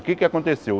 O que é que aconteceu?